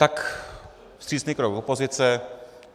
Tak vstřícný krok opozice.